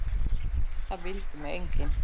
Það vildi mig enginn!